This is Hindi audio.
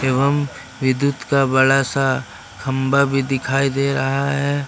एवं विद्युत का बड़ा सा खंभा भी दिखाई दे रहा है।